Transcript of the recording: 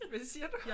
Hvad siger du?